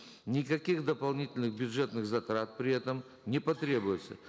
никаких дополнительных бюджетных затрат при этом не потребуется